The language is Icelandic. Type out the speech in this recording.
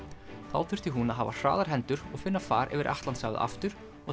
þá þurfti hún að hafa hraðar hendur og finna far yfir Atlantshafið aftur og